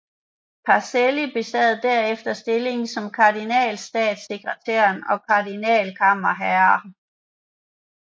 Pacelli besad derefter stillinger som kardinalstatssekretær og kardinalkammerherre